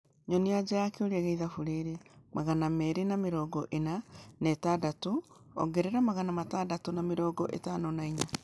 Nyonia aja ya kĩũria ya ĩthabu rĩri magana meerĩ na mĩrongo ĩna na ĩtandatũ ongerera magana matandatũ na mĩrongo ĩtano na inya